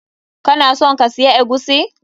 Kana son ka siya eguisi?